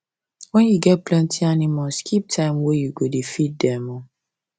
when you get plenty animals keep time wey you go da feed dem